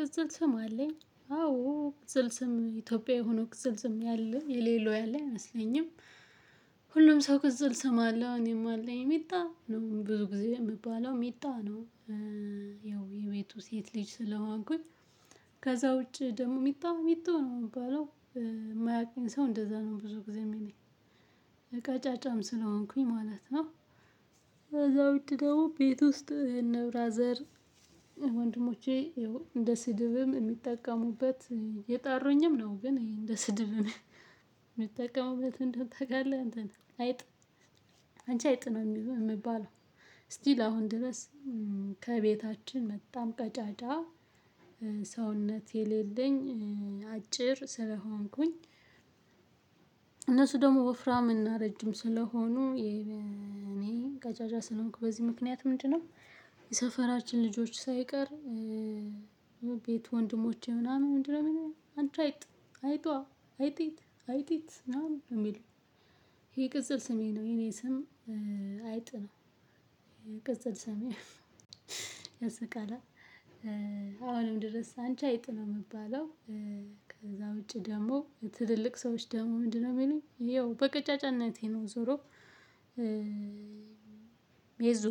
ቅጽል ስም አለኝ አዎ ቅጽል ስም ኢትዮጵያዊ ሆኖ ቅጽል ስም ያለ የሌለው ያለ አይመስለኝም። ሁሉም ሰው ቅጽል ስም አለው እኔም አለኝ ሚጣ ነው ብዙ ጊዜ የምባለው ሚጣ ነው እ ያው የቤቱ ሴት ልጅ ስለሆንኩኝ። ከዛ ውጪ ደግሞ ሚጣ ሚጡ ነው የምባለው። ማያቀኝ ሰው እንደዛ ነው ብዙ ጊዜ የሚለኝ። ቀጫጫም ስለሆንኩኝ ማለት ነው። ከዛ ውጭ ደግሞ ቤት ውስጥ እነ ብራዘር። ወንድሞቼ እንደ ስድብም የሚጠቀሙበት እየጠሩኝም ነው። ግን እንደ ስድብም የሚጠቀሙበት ምን እንደሆነ ታውቃለህ? እንትን አይጥ። አንቺ አይጥ ነው የሚሉ የምባለው። ስቲል አሁን ድረስ ከቤታችን በጣም ቀጫጫ እ ሰውነት የሌለኝ እ አጭር ስለሆንኩኝ። እነሱ ደግሞ ወፍራም እና ረጅም ስለሆኑ እኔ ቀጫጫ ስንሆንኩ በዚህ ምክንያት ምንድነው? የሰፈራችን ልጆች ሳይቀር እ ቤት ወንድሞቼ ምናምን ምንድነው ምናምን አንቺ አይጥ አይጧ አይጢት አይጢት ምናምን ነው። የሚሉኝ ይሄ ቅጽል ስሜ ነው። የኔ ስም አይጥነው። ይሄ ቅጽል ስሜ ያስቃላ። አሁንም ድረስ አንቺ አይጥ ነው የምባለው። ከዛ ውጪ ደግሞ ትልልቅ ሰዎች ደግሞ ምንድነው የሚሉኝ ይኸው በቅጫጫነቴ ነው። ዞሮ ሜዙ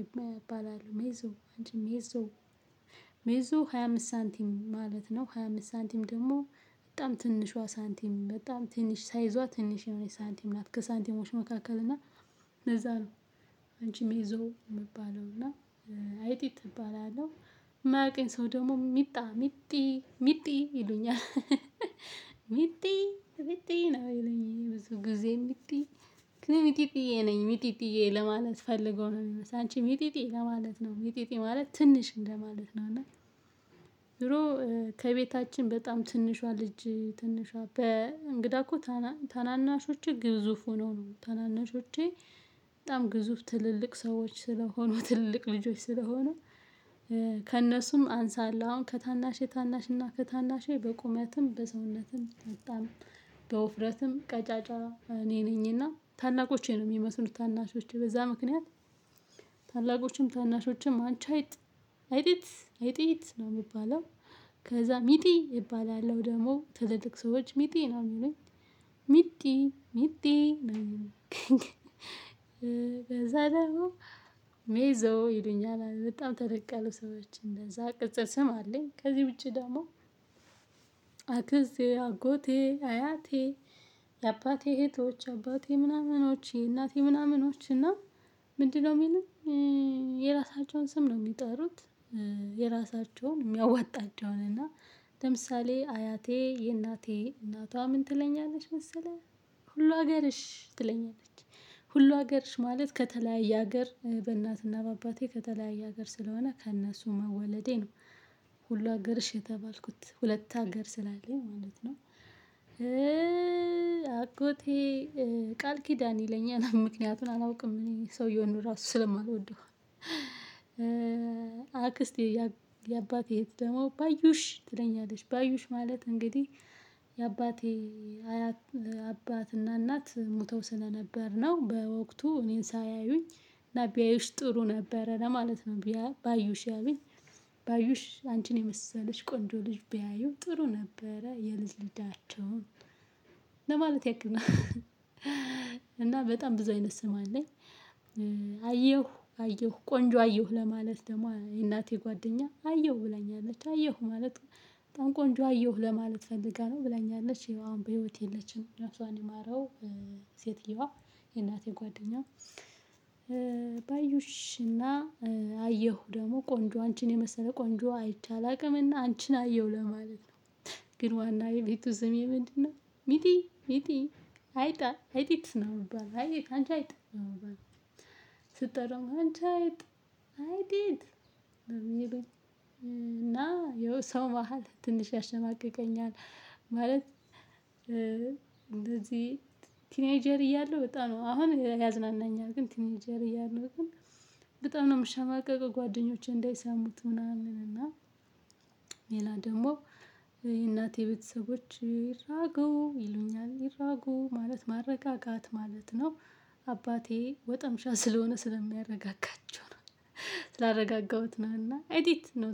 ይባላል ሜዙ አንቺ ሜዙ ሜዞ ሃያ አምስት ሳንቲም ማለት ነው። ሃያ አምስት ሳንቲም ደግሞ በጣም ትንሿ ሳንቲም በጣም ትንሽ ሳይዟ ትንሽ የሆነ ሳንቲም ናት። ከሳንቲሞች መካከል እና ለዛ ነው። አንቺ ሜዞ የምባለው እና አይጢት እባላለሁ። የማያውቀኝ ሰው ደግሞ ሚጣ ሚጢ ሚጢ ይሉኛል እህህህ ሚጢ ሚጢ ነው የሚሉኝ ብዙ ጊዜ። ሚጢ ሚጢ ነኝ ሚጢጢዬ ለማለት ፈልገው ነው የሚመስለው። አንቺ ሚጢጢ ለማለት ነው ሚጢጢ ማለት ትንሽ እንደማለት ነው። እና ድሮ ከቤታችን በጣም ትንሿ ልጅ ትንሿ በእንግዳ እኮ ታናናሾቼ ግዙፍ ሆነው ነው። ታናናሾቼ በጣም ግዙፍ ትልልቅ ሰዎች ስለሆኑ ትልቅ ልጆች ስለሆኑ እ ከእነሱም አንሳለሁ። አሁን ከታናሼ ታናሽ እና ከታናሼ በቁመትም በሰውነትም በጣም በውፍረትም ቀጫጫ እኔ ነኝና ታላቆቼ ነው የሚመስሉ ታናሾቼ በዛ ምክንያት። ታላቆችም ታናሾችም አንቺ አይጥ አይጢት አይጢት ነው የሚባለው። ከዛ ሚጢ እባላለሁ ደግሞ ትልልቅ ሰዎች ሚጢ ነው የሚሉኝ። ሚጢ ሚጢ ነው የሚሉኝ። በዛ ደግሞ ይሉኛል በጣም ተለቅ ያሉ ሰዎች እንደዛ ቅጽል ስም አለኝ። ከዚህ ውጪ ደግሞ አክስቴ አጎቴ አያቴ የአባቴ እህቶች የአባቴ ምናምኖቼ እናቴ ምናምኖቼ እና ምንድነው የሚሉኝ። የራሳቸውን ስም ነው የሚጠሩት። የራሳቸውን የሚያዋጣቸውን እና ለምሳሌ አያቴ የእናቴ እናቷ ምን ትለኛለች? መሰለህ ሁሉ ሀገርሽ ትለኛለች። ሁሉ ሀገርሽ ማለት ከተለያየ ሀገር በእናትና በአባቴ ከተለያየ ሀገር ስለሆነ ከእነሱ መወለዴ ነው። ሁሉ ሀገርሽ የተባልኩት ሁለት ሀገር ስላለኝ ማለት ነው። እእእ አጎቴ ቃል ኪዳን ይለኛል ምክንያቱን አላውቅም። እኔ ሰውየውን ራሱ ስለማልወደው። አክስት የአባቴ እህት ደግሞ ባዩሽ ትለኛለች ባዩሽ ማለት እንግዲህ የአባቴ አያት አባትና እናት ሞተው ስለነበር ነው። በወቅቱ እኔን ሳያዩኝ እና ቢያዩሽ ጥሩ ነበረ ለማለት ነው ቢያ ባዩሽ ያሉኝ። ባዩሽ አንቺን የመሰለች ቆንጆ ልጅ ቢያዩ ጥሩ ነበረ የልጅ ልጃቸውን ለማለት ያክል ነው። እህህ እና በጣም ብዙ አይነት ስም አለኝ። አየሁ አየሁ ቆንጆ አየሁ ለማለት ደግሞ የእናቴ ጓደኛ አየሁ ብለኛለች አየሁ ማለት በጣም ቆንጆ አየሁ ለማለት ፈልጋ ነው ብላኛለች። አሁን በህይወት የለችም ነፍሷን ይማረው። ሴትየዋ የእናቴ ጓደኛ። ባዩሽ እና አየሁ ደግሞ ቆንጆ አንቺን የመሰለ ቆንጆ አይቼ አላውቅምና አንቺን አየሁ ለማለት ነው። ግን ዋና የቤቱ ስሜ ምንድነው? ሚጢ ሚጢ አይጧ አይጢት ነው የምባለው አይጢት አንቺ አይጥ ነው የምባለው። ስጠራም አንቺ አይጥ አይጢት የሚሉኝ። እና ይኸው ሰው መሃል ትንሽ ያሸማቅቀኛል። ማለት እንደዚህ ቲኔጀር እያለሁ በጣም ነው አሁን ያዝናናኛል። ግን ቲኔጀር እያለሁ ግን በጣም ነው የምሸማቀቀው። ጓደኞቼ እንዳይሰሙት ምናምን። እና ሌላ ደግሞ የእናቴ ቤተሰቦች ይራጉ ይሉኛል ይራጉ ማለት ማረጋጋት ማለት ነው። አባቴ ወጠምሻ ስለሆነ ስለሚያረጋጋቸው ነው። ስላረጋጋሁት ነው እና አይጢት